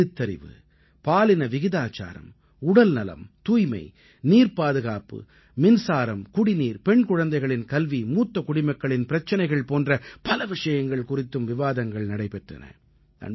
எழுத்தறிவு பாலின விகிதாச்சாரம் உடல்நலம் தூய்மை நீர்ப்பாதுகாப்பு மின்சாரம் குடிநீர் பெண் குழந்தைகளின் கல்வி மூத்த குடிமக்களின் பிரச்சனைகள் போன்ற பல விஷயங்கள் குறித்தும் விவாதங்கள் நடைபெற்றன